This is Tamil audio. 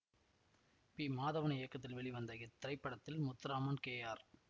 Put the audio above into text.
பி மாதவன் இயக்கத்தில் வெளிவந்த இத்திரைப்படத்தில் முத்துராமன் கே ஆர்